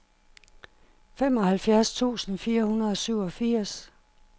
femoghalvtreds tusind fire hundrede og syvogfirs